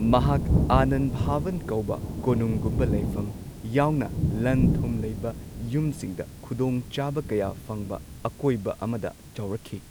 ꯃꯍꯥꯛ ꯑꯥꯅꯟ ꯚꯋꯟ ꯀꯧꯕ ꯀꯣꯅꯨꯡꯒꯨꯝꯕ ꯂꯩꯐꯝ ꯌꯥꯎꯅ ꯂꯟ ꯊꯨꯝ ꯂꯩꯕ ꯌꯨꯝꯁꯤꯡꯗ ꯈꯨꯗꯣꯡꯆꯥꯕ ꯀꯌꯥ ꯐꯪꯕ ꯑꯀꯣꯏꯕ ꯑꯃꯗ ꯆꯥꯎꯔꯛꯈꯤ꯫